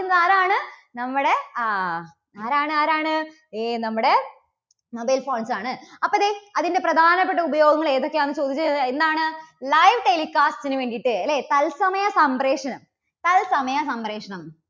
ആരാണ്? നമ്മുടെ, ആഹ് ആരാണ് ആരാണ് ഏ നമ്മുടെ mobile phones ആണ്. അപ്പോ ദേ അതിൻറെ പ്രധാനപ്പെട്ട ഉപയോഗങ്ങൾ ഏതൊക്കെയാണെന്ന് ചോദിച്ചാൽ എന്താണ്? live telecast നു വേണ്ടിയിട്ട് അല്ലേ? തൽസമയ സംപ്രേഷണം, തൽസമയ സംപ്രേഷണം.